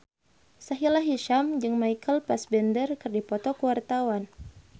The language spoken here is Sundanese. Sahila Hisyam jeung Michael Fassbender keur dipoto ku wartawan